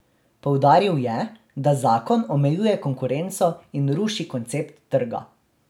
Poudaril je, da zakon omejuje konkurenco in ruši koncept trga.